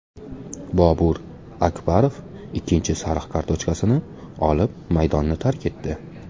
Bobur Akbarov ikkinchi sariq kartochkasini olib, maydonni tark etdi.